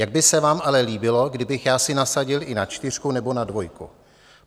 Jak by se vám ale líbilo, kdybych já si nasadil i na čtyřku nebo na dvojku?